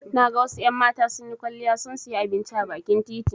Na ga wasu en mata sunyi kwaliya sun siya abinci a bakin titi